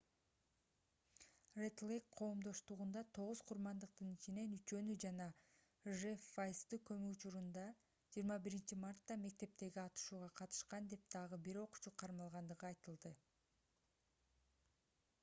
ред-лейк коомдоштугунда тогуз курмандыктын ичинен үчөөнү жана жефф вайзды көмүү учурунда 21-мартта мектептеги атышууга катышкан деп дагы бир окуучу кармалгандыгы айтылды